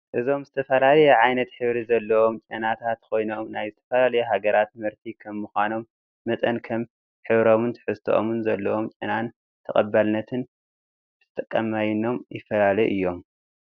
እዞም ዝተፈላለየ ዓይነት ሕብሪ ዘሎዎም ጨናታትኮይኖም ናይ ዝተፈላለዩ ሃገራት ምህርቲ ከም ምኳኖም መጠን ከም ሕብሮምን ትሕዝቶኦምን ዘለዎም ጨናን ተቀባልነት ብተጠቃማዮምን ይፈላለዩ እዮም::